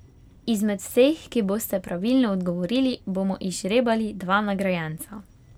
Izmed vseh, ki boste pravilno odgovorili, bomo izžrebali dva nagrajenca.